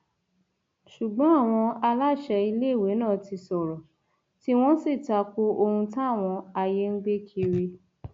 ṣùgbọn àwọn aláṣẹ iléèwé náà ti sọrọ tiwọn sì ta ko ohun táwọn ayé ń gbé kiri